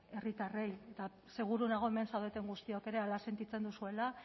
herritarrei eta seguru nago hemen zaudeten guztiok ere hala sentitzen duzuela